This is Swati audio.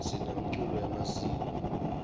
sinemculo wemasiko